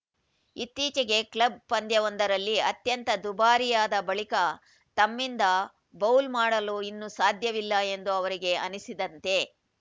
ಇತ್ತೀಚೆಗೆ ಕ್ಲಬ್‌ ಪಂದ್ಯವೊಂದರಲ್ಲಿ ಅತ್ಯಂತ ದುಬಾರಿಯಾದ ಬಳಿಕ ತಮ್ಮಿಂದ ಬೌಲ್‌ ಮಾಡಲು ಇನ್ನು ಸಾಧ್ಯವಿಲ್ಲ ಎಂದು ಅವರಿಗೆ ಅನಿಸಿತಂತೆ